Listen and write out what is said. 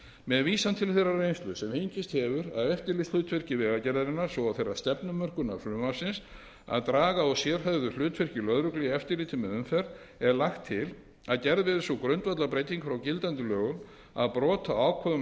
með vísan til þeirrar reynslu sem fengist hefur af eftirlitshlutverki vegagerðarinnar svo og þeirrar stefnumörkunar frumvarpsins að draga úr sérhæfðu hlutverki lögreglu í eftirliti með umferð er lagt til að gerð verði sú grundvallarbreyting frá gildandi lögum að brot á ákvæðum